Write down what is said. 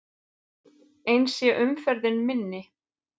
Eins sé umferðin minni.